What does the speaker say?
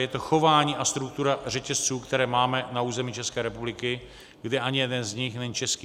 Je to chování a struktura řetězců, které máme na území České republiky, kdy ani jeden z nich není český.